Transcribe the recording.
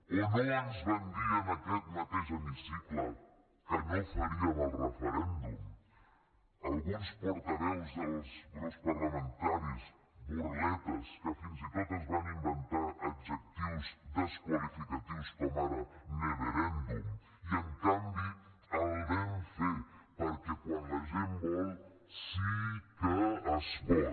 o no ens van dir en aquest mateix hemicicle que no faríem el referèndum alguns portaveus dels grups parlamentaris burletes que fins i tot es van inventar adjectius desqualificatius com ara neverèndum i en canvi el vam fer perquè quan la gent vol sí que es pot